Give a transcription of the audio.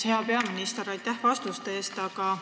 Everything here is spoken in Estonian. Hea peaminister, aitäh vastuste eest!